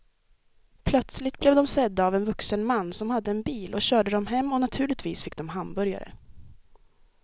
Plötsligt blev de sedda av en vuxen man som hade en bil och körde dem hem och naturligtvis fick de hamburgare.